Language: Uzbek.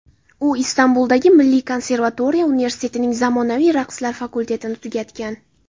U Istanbuldagi Milliy konservatoriya universitetining zamonaviy raqslar fakultetini tugatgan.